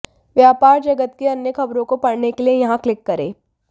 व्यापार जगत की अन्य खबरों को पढ़ने के लिए यहां क्लिक करें